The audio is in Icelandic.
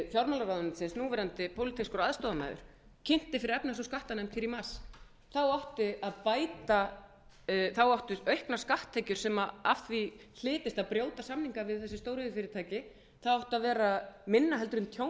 fjármálaráðuneytisins núverandi pólitískur aðstoðarmaður kynnti fyrir efnahags og skattanefnd hér í mars þá átti að bæta þá áttu auknar skatttekjur sem að því hlytist að brjóta samninga við þessi stóriðjufyrirtæki það átti að vera minna heldur en tjónið